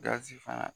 Gasi fana